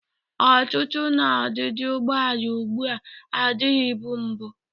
Ọtụtụ na odịdị ụgbọala ugbu a adịbụghị mbụ.